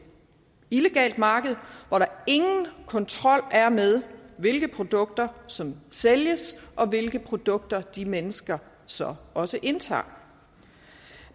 illegalt marked hvor der ingen kontrol er med hvilke produkter som sælges og hvilke produkter de mennesker så også indtager